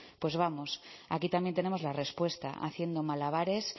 pues vamos aquí también tenemos la respuesta haciendo malabares